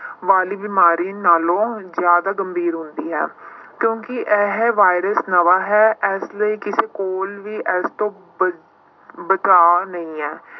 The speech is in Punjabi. ਵਾਲੀ ਬਿਮਾਰੀ ਨਾਲੋਂ ਜ਼ਿਆਦਾ ਗੰਭੀਰ ਹੁੰਦੀ ਹੈ ਕਿਉਂਕਿ ਇਹ ਵਾਇਰਸ ਨਵਾਂ ਹੈ ਇਸ ਲਈ ਕਿਸੇ ਕੋਲ ਵੀ ਇਸ ਤੋਂ ਬ~ ਬਚਾ ਨਹੀਂ ਹੈ।